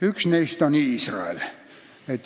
Üks neist on Iisrael.